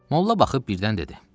Molla baxıb birdən dedi.